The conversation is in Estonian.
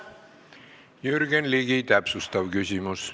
Jürgen Ligi täpsustav küsimus.